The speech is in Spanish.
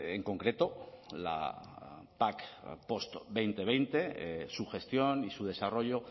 en concreto la pac post dos mil veinte su gestión y su desarrollo